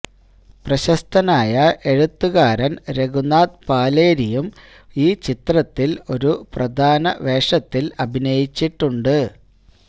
പ്രശസ്തനായ എഴുത്തുകാരന് രഘുനാഥ് പാലേരിയും ഈ ചിത്രത്തില് ഒരു പ്രധാന വേഷത്തില് അഭിനയിച്ചിട്ടുണ്ട്